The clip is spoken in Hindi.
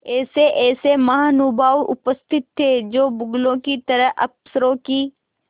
ऐसेऐसे महानुभाव उपस्थित थे जो बगुलों की तरह अफसरों की